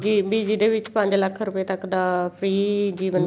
ਵੀ ਜਿਹਦੇ ਵਿੱਚ ਪੰਜ ਲੱਖ ਰੁਪਏ ਤੱਕ ਦਾ free ਜੀਵਨ